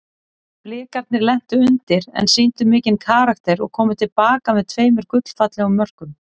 Blikarnir lentu undir en sýndu mikinn karakter og komu til baka með tveimur gullfallegum mörkum.